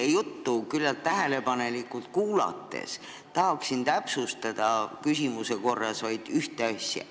Teie juttu küllaltki tähelepanelikult kuulanuna tahaksin täpsustada küsimuse korras vaid ühte asja.